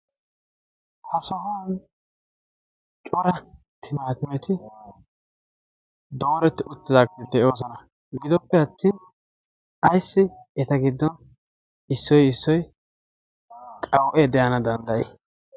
ha sohuwan cora timaatimeti dooretti uttidaageeti de7oosona. gidoppe attin aissi eta giddon issoi issoi qawu7ee de7ana danddayyii?